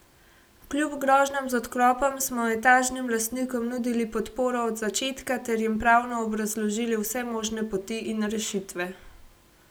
Kljub grožnjam z odklopom smo etažnim lastnikom nudili podporo od začetka ter jim pravno obrazložili vse možne poti in rešitve.